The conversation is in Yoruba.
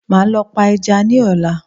Màá lọ pa ẹja ní ọ̀la